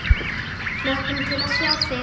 Hlökkum til að sjá þig!